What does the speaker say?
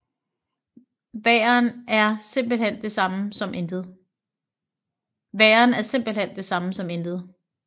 Væren er simpelthen det samme som intet